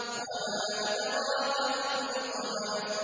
وَمَا أَدْرَاكَ مَا الْحُطَمَةُ